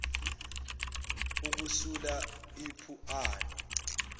ukusula ipu ani